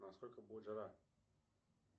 насколько будет жара